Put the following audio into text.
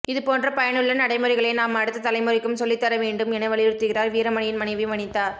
இது போன்ற பயனுள்ள நடைமுறைகளை நாம் அடுத்த தலைமுறைக்கும் சொல்லித்தர வேண்டும் என வலியுறுத்துகிறார் வீரமணியின் மனைவி வனிதா